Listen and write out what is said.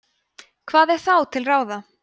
hvað er þá til ráða